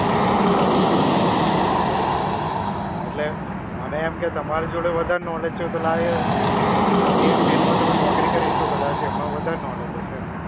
બરાબર છે. હા એટલે, મને એમ કે તમારી જોડે વધારે knowledge છે એટલે લાય હવે, એ field માં તમે નૌકરી કરી તો કદાચ એમાં વધારે knowledge હશે એમ.